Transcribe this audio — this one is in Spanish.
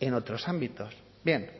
en otros ámbitos bien